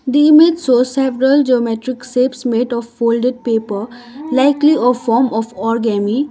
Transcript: the image shows several geometric shapes made of folded paper likely a form or orgami.